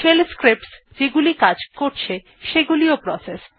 shell scripts যেগুলি কাজ করছে সেগুলিও প্রসেস